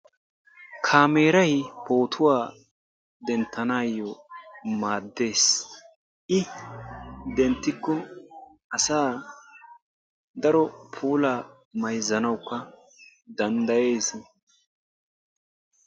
Kaameray pootuwaa denttanayoo maaddees. I denttiko asaa daro puulaa mayzzanawukka danddayees.